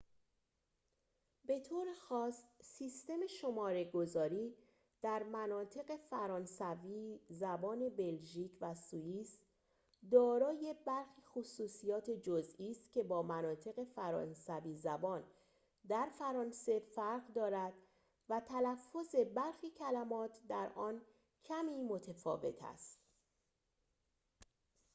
به طور خاص سیستم شماره‌گذاری در مناطق فرانسوی زبان بلژیک و سوئیس دارای برخی خصوصیات جزئی است که با مناطق فرانسوی زبان در فرانسه فرق دارد و تلفظ برخی کلمات در آن کمی ‌متفاوت است